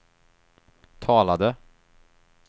talade